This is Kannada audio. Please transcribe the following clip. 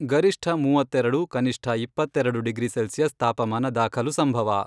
ಗರಿಷ್ಠ ಮೂವತ್ತೆರೆಡು, ಕನಿಷ್ಠ ಇಪ್ಪತ್ತೆರೆಡು ಡಿಗ್ರಿ ಸೆಲ್ಸಿಯಸ್ ತಾಪಮಾನ ದಾಖಲು ಸಂಭವ.